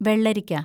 വെള്ളരിക്ക